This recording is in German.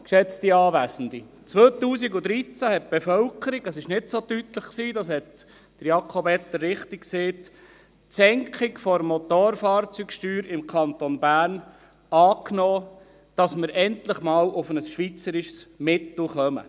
2013 nahm die Bevölkerung – es war nicht so deutlich, das hat Jakob Etter richtig gesagt – die Senkung der Motorfahrzeugsteuer im Kanton Bern an, damit wir endlich einmal auf ein schweizerisches Mittel kommen.